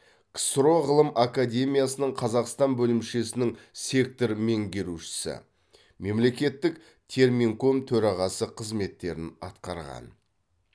ксро ғылым академиясының қазақстан бөлімшесінің сектор меңгерушісі мемлекеттік терминком төрағасы қызметтерін атқарған